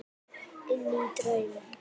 Inní draum.